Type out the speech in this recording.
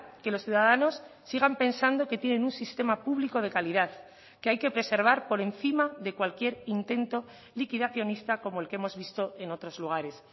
que los ciudadanos sigan pensando que tienen un sistema público de calidad que hay que preservar por encima de cualquier intento liquidacionista como el que hemos visto en otros lugares